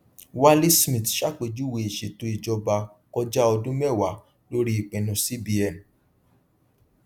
wale smith ṣàpèjúwe ìṣètò ìjọba kọjá ọdún mẹwàá lórí ìpinnu cbn